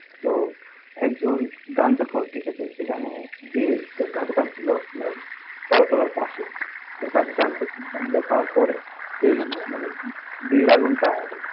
তো একজন গাঞ্জাখোর ঠিকাছে সেখানে গিয়ে গাজা টানছিলো আপনার কলতলার পাশেই গাঞ্জা খাওয়ার পরে সেই বিড়ির আগুনটা